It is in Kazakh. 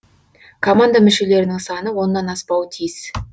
команда мүшелерінің саны оннан аспауы тиіс